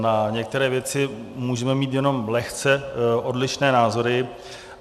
Na některé věci můžeme mít jenom lehce odlišné názory.